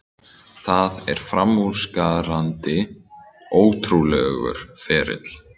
Það er framúrskarandi, ótrúlegur ferill.